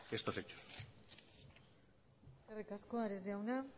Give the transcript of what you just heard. estos hechos eskerrik asko ares jauna